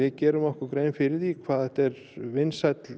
gera okkur grein fyrir því hvað þetta er vinsæll